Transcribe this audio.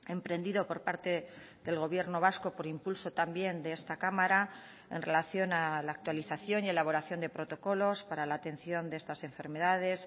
emprendido por parte del gobierno vasco por impulso también de esta cámara en relación a la actualización y elaboración de protocolos para la atención de estas enfermedades